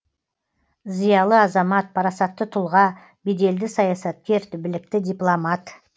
зиялы азамат парасатты тұлға беделді саясаткер білікті дипломат